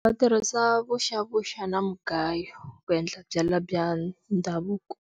Va tirhisa vuxavuxa na mugayo ku endla byalwa bya ndhavuko.